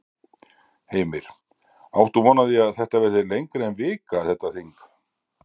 Heimir: Áttu von á því að þetta verði lengra en vika, þetta þing?